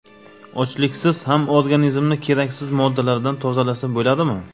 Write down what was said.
Ochliksiz ham organizmni keraksiz moddalardan tozalasa bo‘ladimi?.